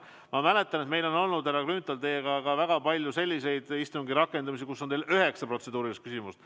Ma mäletan, et meil on olnud, härra Grünthal, väga palju selliseid istungi rakendamisi, kus teil on olnud ka üheksa protseduurilist küsimust.